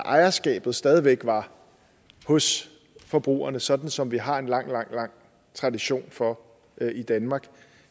ejerskabet stadig væk er hos forbrugerne sådan som vi har en lang lang tradition for i danmark